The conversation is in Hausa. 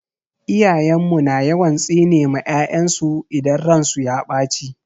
Iyayen mu na yawan tsine ma 'ya'yansu idan ransu ya ɓace.